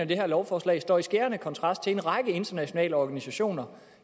det her lovforslag står i skærende kontrast til en række internationale organisationers